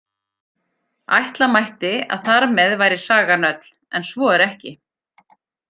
Ætla mætti að þar með væri sagan öll, en svo er ekki.